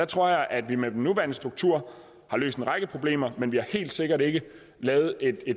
tror at vi med den nuværende struktur har løst en række problemer men vi har helt sikkert ikke lavet et